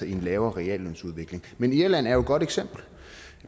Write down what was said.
i en lavere reallønsudvikling men irland er et godt eksempel